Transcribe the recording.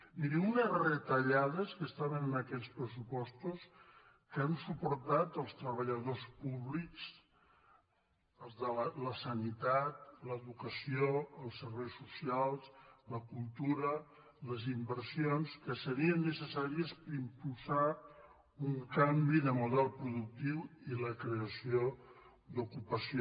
miri unes retallades que estaven en aquells pressupostos que han suportat els treballadors públics la sanitat l’educació els serveis socials la cultura les inversions que serien necessàries per impulsar un canvi de model productiu i la creació d’ocupació